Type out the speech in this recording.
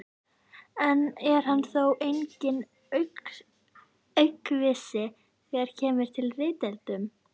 og er hann þó enginn aukvisi þegar kemur að ritdeilum.